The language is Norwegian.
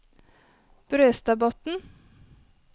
Brøstadbotn